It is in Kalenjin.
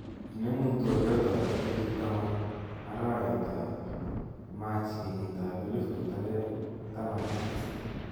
Inemuu twoliotab tarikit taman arawetab machi kenyitab elifut aenge taman ak tisab